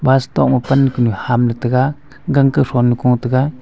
bus tok ma pan kunu ham ley taiga gang ka thon nu ko taiga.